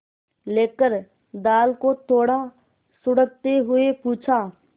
लेकर दाल को थोड़ा सुड़कते हुए पूछा